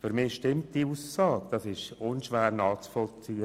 Für mich stimmt diese Aussage, sie ist unschwer nachvollziehbar.